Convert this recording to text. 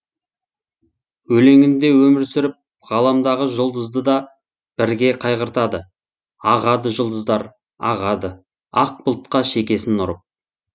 өлеңінде өмір сүріп ғаламдағы жұлдызды да бірге қайғыртады ағады жұлдыздар ағады ақ бұлтқа шекесін ұрып